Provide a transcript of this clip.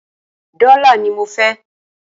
Dọ́là ní mọ fẹ́!